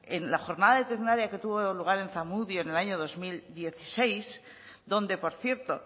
en la jornada de tecnalia que tuvo lugar en zamudio en el año dos mil dieciséis donde por cierto